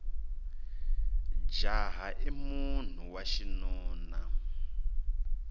jaha i munhu wa xinuna